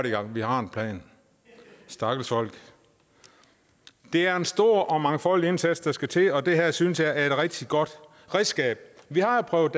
i gang vi har en plan stakkels folk det er en stor og mangfoldig indsats der skal til og det her synes jeg er et rigtig godt redskab vi har prøvet